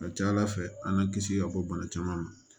A ka ca ala fɛ an y'an kisi ka bɔ bana caman ma